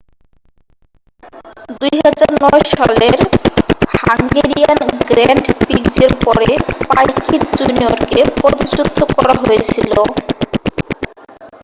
2009 সালের Hungarian grand প্রিক্সের পরে পাইকিট জুনিয়রকে পদচ্যুত করা হয়েছিল